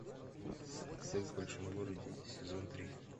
секс в большом городе сезон три